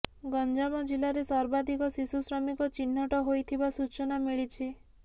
ଗଞ୍ଜାମ ଜିଲ୍ଲାରେ ସର୍ବାଧିକ ଶିଶୁ ଶ୍ରମିକ ଚିହ୍ନଟ ହୋଇଥିବା ସୂଚନା ମିଳିଛି